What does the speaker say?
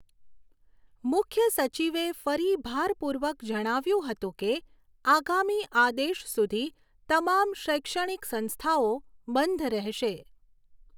મુખ્યસચિવે ફરી ભારપૂર્વક જણાવ્યુંં હતું કે આગામી આદેશ સુધી તમામ શૈક્ષણિક સંસ્થઆઓ બંધ રહેશે.